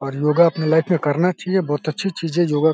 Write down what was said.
और योगा अपनी लाइफ में करना चाहिए। बहुत अच्छी चीज है योगा --